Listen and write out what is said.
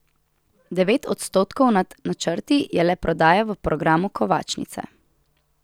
Devet odstotkov nad načrti je le prodaja v programu kovačnice.